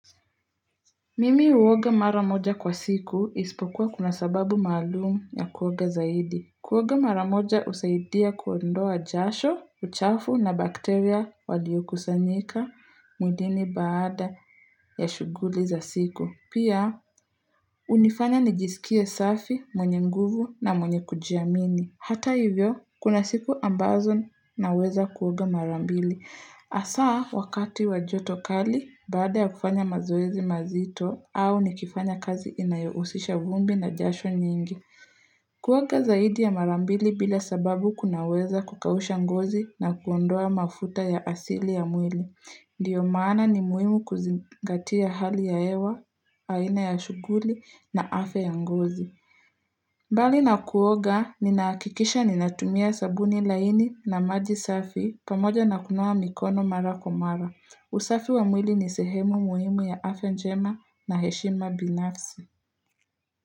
Mimi uoga maramoja kwa siku isipokuwa kuna sababu maalumu ya kuoga zaidi. Kuoga mara moja husaidia kuondoa jasho, uchafu na bakteria walio kusanyika mwilini baada ya shughuli za siku. Pia, unifanya nijisikie safi, mwenye nguvu na mwenye kujiamini. Hata hivyo, kuna siku ambazo naweza kuoga mara mbili. Hasa wakati wa joto kali baada ya kufanya mazoezi mazito au nikifanya kazi inayohusisha vumbi na jasho nyingi. Kuoga zaidi ya mara mbili bila sababu kunaweza kukausha ngozi na kuondoa mafuta ya asili ya mwili. Ndio maana ni muhimu kuzingatia hali ya hewa, haina ya shughuli na afya ya ngozi. Mbali na kuoga, ninahakikisha ninatumia sabuni laini na maji safi pamoja na kunawa mikono mara kwa mara. Usafi wa mwili ni sehemu muhimu ya afya njema na heshima binafsi.